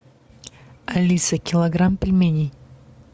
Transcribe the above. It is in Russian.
алиса килограмм пельменей